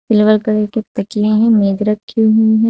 Silver colour के तकिए हैं मेज रखी हुई है।